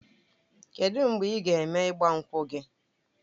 Kedụ mgbe ị ga-eme ịgbankwu gị?